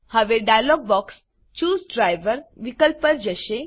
હવે dialogue box choose driver વિકલ્પ પર જશે